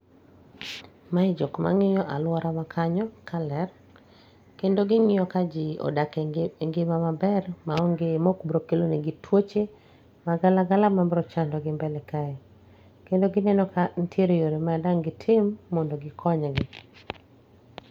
Mae jokma ng'iyo alworawa kanyo ka ler, kendo ging'iyo ka ji odak e ngima maber ma onge maok bro kelo negi tuoche magala gala mabro chando gi mbele kae. Kendo gineno ka nitiere yore ma dang' gitim mondo gikony gi.